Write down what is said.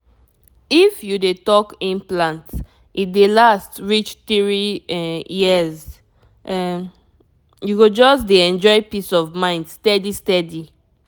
if you dey talk implant e dey last reach three um years — um you go just dey enjoy peace of mind steady steady.